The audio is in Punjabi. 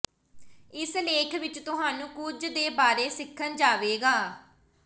ਇਸ ਲੇਖ ਵਿਚ ਤੁਹਾਨੂੰ ਕੁਝ ਦੇ ਬਾਰੇ ਸਿੱਖਣ ਜਾਵੇਗਾ